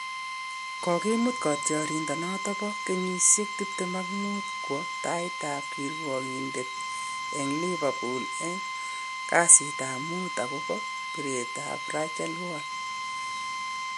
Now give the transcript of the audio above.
Kokimut katyarindet noton bo kenyisiek tiptem ak muut kowe tait ab kirwakindet en Liverpool en kasitap muut akogopo piret ab Rachel Wall